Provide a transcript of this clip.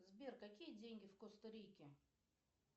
сбер какие деньги в коста рике